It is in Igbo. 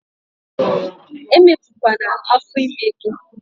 Emepu kwana afo ime gi!